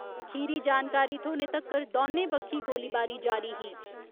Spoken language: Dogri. खीरी जानकारी थ्होने तक्कर दौने बक्खी गोलीबारी जारी ही।